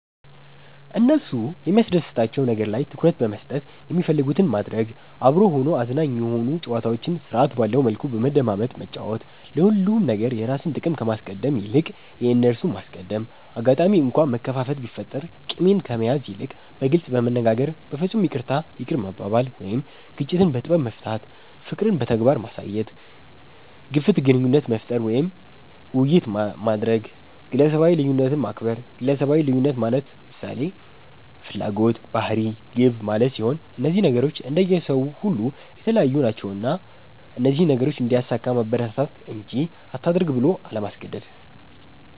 እነሱ የሚያስደስታቸዉ ነገር ላይ ትኩረት በመስጠት የሚፈልጉትን ማድረግ፤ አብሮ ሆኖ አዝናኝ የሆኑ ጨዋታዎችን ስርዐት ባለዉ መልኩ በመደማመጥ መጫወት፤ ለሁሉም ነገር የራስን ጥቅም ከማስቀደም ይልቅ የእነርሱን ማስቀደም፣ አጋጣሚ እንኳ መከፋፋት ቢፈጠር ቂምን ከመያዝ ይልቅ በግልጽ በመነጋገር በፍፁም ይቅርታ ይቅር መባባል ወይም ግጭትን በጥበብ መፍታት፣ ፍቅርን በተግባር ማሳየት፣ ግፍት ግንኙነት መፍጠር ወይም የቤተሰብ ዉይይት ማድረግ፣ ግለሰባዊ ልዩነትን ማክበር ግለሰባዊ ልዩነት ማለት ምሳሌ፦ ፍላጎት፣ ባህሪ፣ ግብ ማለት ሲሆን እነዚህ ነገሮች እንደየ ሰዉ ሁሉ የተለያዩ ናቸዉና እነዚህን ነገሮች እንዲያሳካ ማበረታታት እንጂ አታድርግ ብሎ አለማስገደድ።